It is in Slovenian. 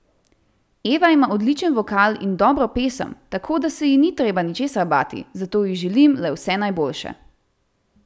Eva ima odličen vokal in dobro pesem, tako da se ji ni treba ničesar bati, zato ji želim le vse najboljše!